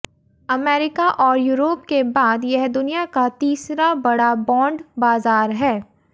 America और Europe के बाद यह दुनिया का तीसरा बड़ा बॉन्ड बाजार है